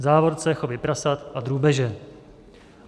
V závorce chovy prasat a drůbeže.